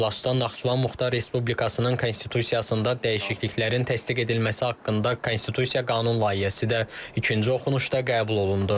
İclasda Naxçıvan Muxtar Respublikasının Konstitusiyasında dəyişikliklərin təsdiq edilməsi haqqında Konstitusiya qanun layihəsi də ikinci oxunuşda qəbul olundu.